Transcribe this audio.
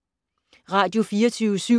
Radio24syv